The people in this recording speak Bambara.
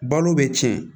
Balo bɛ tiɲɛ